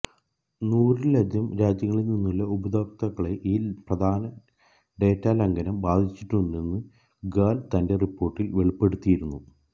നൂറിലധികം രാജ്യങ്ങളില് നിന്നുള്ള ഉപയോക്താക്കളെ ഈ പ്രധാന ഡേറ്റാ ലംഘനം ബാധിച്ചിട്ടുണ്ടെന്ന് ഗാല് തന്റെ റിപ്പോര്ട്ടില് വെളിപ്പെടുത്തിയിരുന്നു